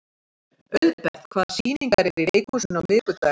Auðbert, hvaða sýningar eru í leikhúsinu á miðvikudaginn?